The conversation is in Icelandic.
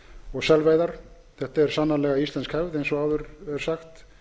og selveiðar þetta er sannarlega íslensk hefð eins og áður er sagt